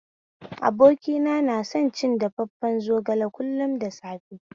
Abokina na son cin dafafen zogale kullum da safe